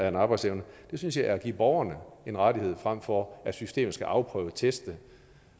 en arbejdsevne det synes jeg er at give borgerne en rettighed frem for at systemet skal afprøve teste